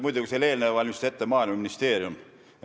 Muidugi, selle eelnõu valmistas ette Maaeluministeerium.